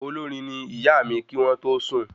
Olórin ní ìyá mí kí wọn tó sùn